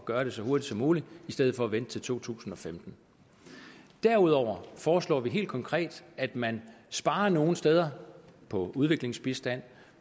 gøre det så hurtigt som muligt i stedet for at vente til to tusind og femten derudover foreslår vi helt konkret at man sparer nogle steder på udviklingsbistand